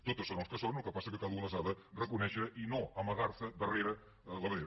totes són el que són el que passa és que cadascú les ha de reconèixer i no amagar se darrere la bandera